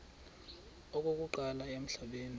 okokuqala emhlabeni uba